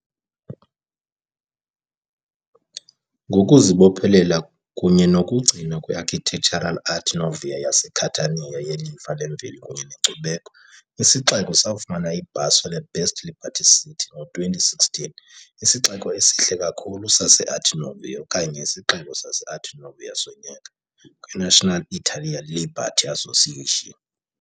Ngokuzibophelela kunye nokugcinwa kwe-Architectural Art Nouveau yaseCatania yelifa lemveli kunye nenkcubeko, isixeko safumana ibhaso le- "Best LibertyCity" ngo-2016, "isixeko esihle kakhulu se-Art Nouveau " okanye "isixeko sase-Art Nouveau sonyaka", kwi-National Italia Liberty Association.